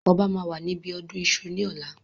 Ọba máa wà níbi ọdún Iṣu ni ọ̀la.